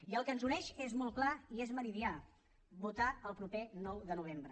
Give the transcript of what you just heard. i el que ens uneix és molt clar i és meridià votar el proper nou de novembre